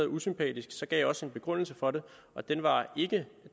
usympatisk gav jeg også en begrundelse for det og det var ikke